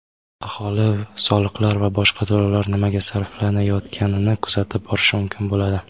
Aholi soliqlar va boshqa to‘lovlar nimaga sarflanayotganini kuzatib borishi mumkin bo‘ladi.